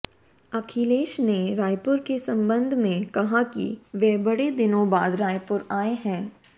अखिलेश ने रायपुर के संबंध में कहा कि वे बड़े दिनों बाद रायपुर आए हैं